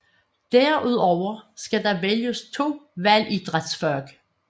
Derudover skal der vælges 2 valgidrætsfag